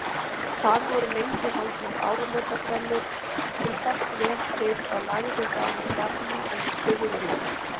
Þar voru lengi haldnar áramótabrennur sem sást vel til og lagði þaðan bjarma yfir byggðina.